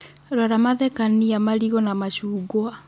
Rora mathekania marigũ na machungwa